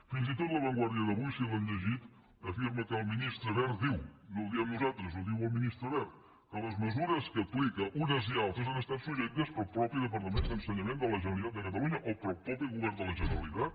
fins i tot la vanguardia d’avui si l’han llegida afirma que el ministre wert diu no ho diem nosaltres ho diu el ministre wert que les mesures que aplica unes i altres han estat suggerides pel mateix departament d’ensenyament de la generalitat de catalunya o pel mateix govern de la generalitat